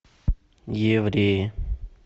евреи